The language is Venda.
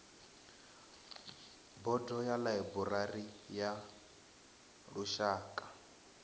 bodo ya ḽaiburari ya lushaka